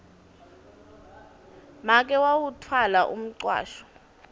make wawutfwala umcwasho